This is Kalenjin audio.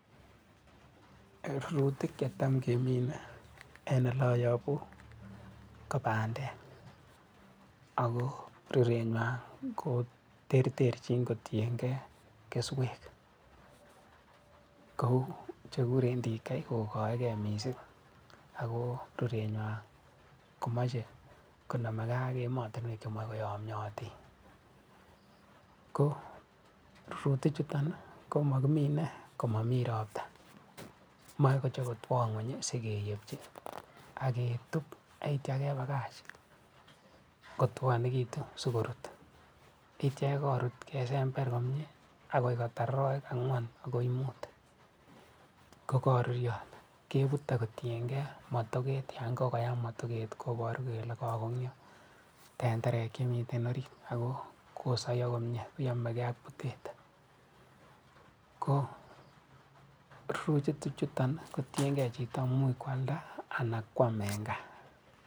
Rurutik che tam kemine eng ole ayabu ko bande, aku rurenywa ko terterchin kotienge keswek. Kou che kikuren TK che koike mising aku rurenywa ko mache koname ge ak emotinwek che yamakoyamioti. Ko rurutichuton ko makimine ko mami robta, mae kocho kotwa ng'weny sikeyepchi, aketup yaitio ke bakach kotwanekitun si korut, yaitokekorut, kesember komie akoi kotar aroek ang'wan agoi mut kukaruruot kebut akutienge motoket yankakuyam motoket ko boru kele kakuumio ternterek che miten orit ako kakosaiyo kumie yamegee ak butet. ko rurutichuton kotienge chito, much koalda anan ko am eng gaa.